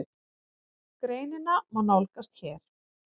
Greinina má nálgast hér